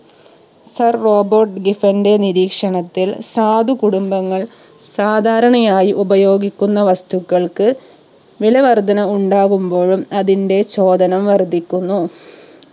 sir Robert Giffen ന്റെ നിരീക്ഷണത്തിൽ സാധു കുടുംബങ്ങൾ സാധാരണയായി ഉപയോഗിക്കുന്ന വസ്തുക്കൾക്ക് വില വർധന ഉണ്ടാവുമ്പോഴും അതിന്റെ ചോദനം വർധിക്കുന്നു